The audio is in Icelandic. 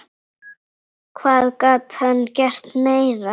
Hvað gat hann gert meira?